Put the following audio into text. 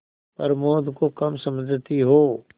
प्रमोद को कम समझती हो